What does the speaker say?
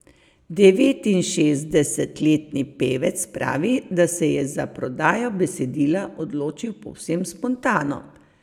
Devetinšestdesetletni pevec pravi, da se je za prodajo besedila odločil povsem spontano.